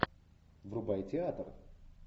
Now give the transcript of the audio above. врубай театр